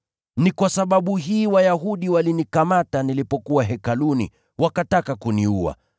Ni kwa sababu hii Wayahudi walinikamata nilipokuwa Hekaluni, wakataka kuniua.